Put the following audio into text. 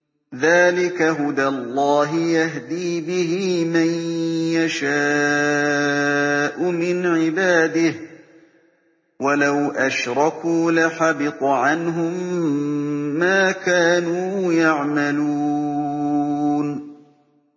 ذَٰلِكَ هُدَى اللَّهِ يَهْدِي بِهِ مَن يَشَاءُ مِنْ عِبَادِهِ ۚ وَلَوْ أَشْرَكُوا لَحَبِطَ عَنْهُم مَّا كَانُوا يَعْمَلُونَ